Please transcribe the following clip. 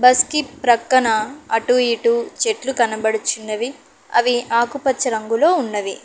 బస్కీ ప్రక్కన అటు ఇటు చెట్లు కనపడుచున్నవి అవి ఆకుపచ్చ రంగులో ఉన్నవి.